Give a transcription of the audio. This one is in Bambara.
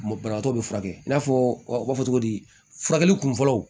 banabagatɔ bɛ furakɛ i n'a fɔ u b'a fɔ cogo di furakɛli kunfɔlɔ